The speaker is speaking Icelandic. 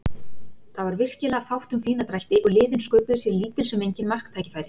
Það var virkilega fátt um fína drætti og liðin sköpuðu sér lítil sem engin marktækifæri.